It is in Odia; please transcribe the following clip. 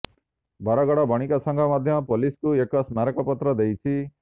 ବରଗଡ଼ ବଣିକ ସଂଘ ମଧ୍ୟ ପୋଲିସକୁ ଏକ ସ୍ମାରକପତ୍ର ଦେଇଛି